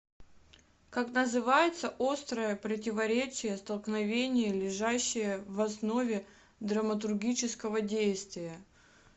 как называется острое противоречие столкновение лежащее в основе драматургического действия